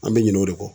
An bɛ ɲinɛ o de kɔ